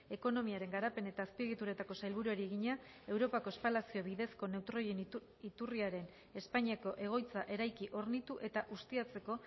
ekonomiaren garapen eta azpiegituretako sailburuari egina europako espalazio bidezko neutroien iturriaren espainiako egoitza eraiki hornitu eta ustiatzeko